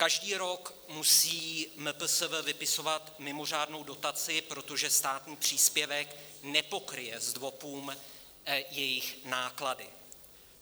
Každý rok musí MPSV vypisovat mimořádnou dotaci, protože státní příspěvek nepokryje zdvopům jejich náklady.